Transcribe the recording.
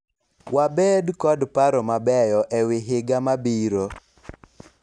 wabed kod paro mabeyo ewi higa mabiro